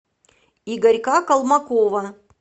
игорька колмакова